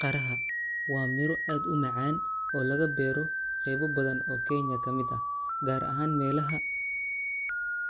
Qaraha waa miro aad u macaan oo laga beero qeybo badan oo Kenya ka mid ah, gaar ahaan meelaha